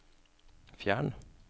fjern